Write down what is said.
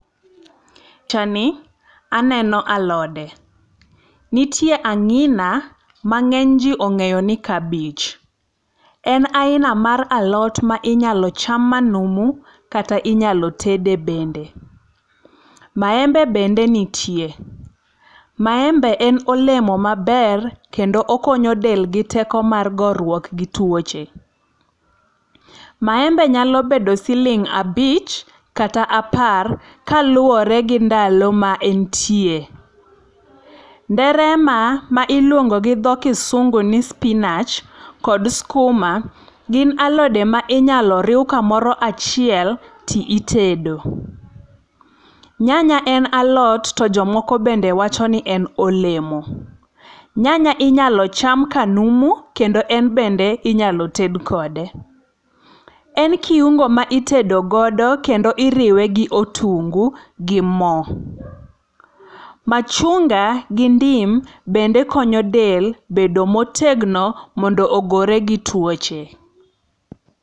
E pichani aneno alode, nitie ang'ina ma ng'eny ji ong'eyo ni kabich. En aina mar alot minyalo cham manumu, kata inyalo tede bende. Maembe bende niie. Maembe en olemo maber kedo okono del gi teko mar goruok gi tuoche. Maembe nyalo bedo siling abich kata apar kaluwore gi ndalo ma entie. Nderema ma iluongo gi dho kisungu ni spinach kod sikuma gin alode ma inyalo riw kamoro achiel to itedo. Nyanya en alot to jomoko wacho ni en olemo. Nyanya inyalo cham kanumu kendo en bende inyalo ted kode. En kiungo ma itedo godo kendo iriwe gi otungu gi mo. Machunga gi ndim bende konyo del bedo motegno mondo ogore gi tuoche.